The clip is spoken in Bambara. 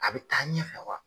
A bi taa ɲɛfɛ wa ?